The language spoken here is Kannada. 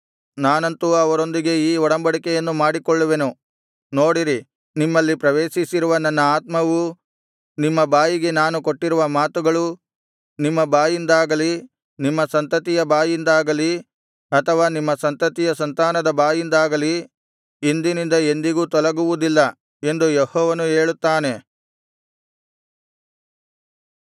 ನಾನಂತೂ ಅವರೊಂದಿಗೆ ಈ ಒಡಂಬಡಿಕೆಯನ್ನು ಮಾಡಿಕೊಳ್ಳುವೆನು ನೋಡಿರಿ ನಿಮ್ಮಲ್ಲಿ ಪ್ರವೇಶಿಸಿರುವ ನನ್ನ ಆತ್ಮವೂ ನಿಮ್ಮ ಬಾಯಿಗೆ ನಾನು ಕೊಟ್ಟಿರುವ ಮಾತುಗಳೂ ನಿಮ್ಮ ಬಾಯಿಂದಾಗಲಿ ನಿಮ್ಮ ಸಂತತಿಯ ಬಾಯಿಂದಾಗಲಿ ಅಥವಾ ನಿಮ್ಮ ಸಂತತಿಯ ಸಂತಾನದ ಬಾಯಿಂದಾಗಲಿ ಇಂದಿನಿಂದ ಎಂದಿಗೂ ತೊಲಗುವುದಿಲ್ಲ ಎಂದು ಯೆಹೋವನು ಹೇಳುತ್ತಾನೆ